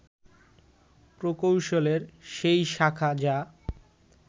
প্রকৌশলের সেই শাখা যা